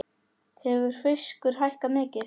Hefur fiskur hækkað mikið?